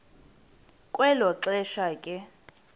kwelo xesha ke